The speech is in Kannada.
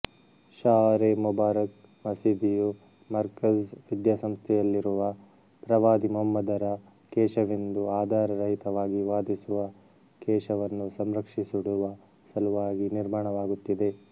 ಶಅರೇ ಮುಬಾರಕ್ ಮಸೀದಿಯು ಮರ್ಕಝ್ ವಿದ್ಯಾಸಂಸ್ಥೆಯಲ್ಲಿರುವ ಪ್ರವಾದಿ ಮುಹಮ್ಮದರ ಕೇಶವೆಂದು ಆಧಾರ ರಹಿತವಾಗಿ ವಾದಿಸುವ ಕೇಶವನ್ನು ಸಂರಕ್ಷಿಸಿಡುವ ಸಲುವಾಗಿ ನಿರ್ಮಾಣವಾಗುತ್ತಿದೆ